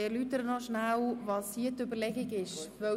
Ich erläutere kurz die Überlegungen.